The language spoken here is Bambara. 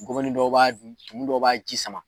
Gɔbɔni dɔ b'a tumuni dɔ b'a ji sama